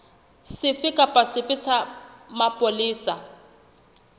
sefe kapa sefe sa mapolesa